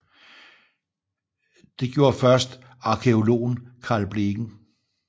Det gjorde først arkæologen Carl Blegen